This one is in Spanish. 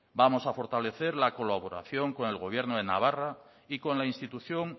vamos a fortalecer la colaboración con el gobierno de navarra y con la institución